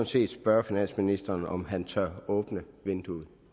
set spørge finansministeren om han tør åbne vinduet